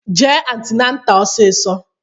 Jee antinata ọsisọ!